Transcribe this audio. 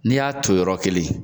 N'i y'a ton yɔrɔ kelen